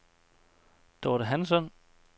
Dorte Hansson